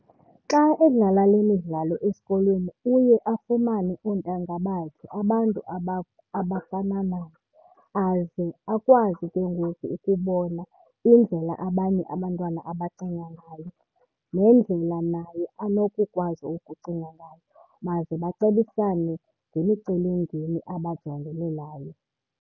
Xa edlala le midlalo esikolweni uye afumane oontanga bakhe abantu abafana naye aze akwazi ke ngoku ukubona indlela abanye abantwana abacinga ngayo nendlela naye anokukwazi ukucinga ngayo, baze bacebisane ngemicelimngeni abajongene nayo.